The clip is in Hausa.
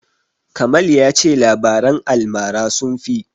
Kamal ya ce labaran almara sun fi.